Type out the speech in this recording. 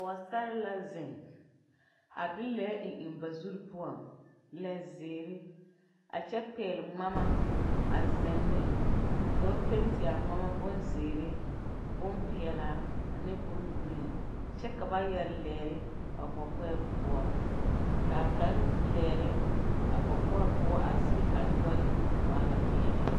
Poosarre la zeŋ a de lɛɛ eŋ eŋ ba zurre poɔŋ lɛ zeere a kyɛ pɛgle ngmama a zeŋ ne ka ba penti a ngmama bonzeere bonpeɛɛlaa ane bongreen kyɛ ka ba yɛre lɛɛre ba kɔkɔɛ poɔ kaa kaŋ lɛɛre a kɔkɔre poɔ a sige a nyoore waala peɛlaa.